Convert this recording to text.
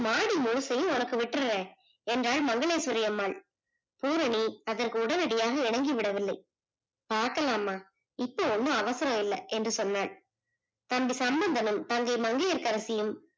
மாடி முழுசயும் உனக்கு விட்டுறேன் என்றால் மங்கலேஷ்வரி அம்மாள் பூரணி அதற்கு உடனடியாக இணங்கி விடவில்லை பாக்கலாமா இப்போ ஒண்ணும் அவசரம் இல்லை என்று சொன்னால் தம்பி சம்பந்தனும் தங்கை மங்கையர்கரசியும்